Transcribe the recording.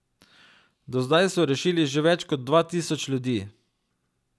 Do zdaj so rešili že več kot dva tisoč ljudi.